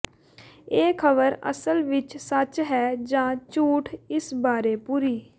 ਇਹ ਖਬਰ ਅਸਲ ਵਿੱਚ ਸੱਚ ਹੈ ਜਾ ਝੂਠ ਇਸ ਬਾਰੇ ਪੂਰੀ